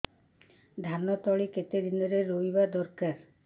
ଧାନ ତଳି କେତେ ଦିନରେ ରୋଈବା ଦରକାର